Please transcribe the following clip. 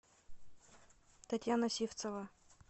татьяна сивцова